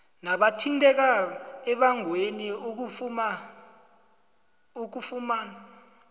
nabathinteka embangweni ukufuma